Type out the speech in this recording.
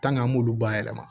an m'olu bayɛlɛma